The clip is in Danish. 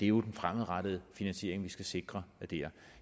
jo den fremadrettede finansiering vi skal sikre der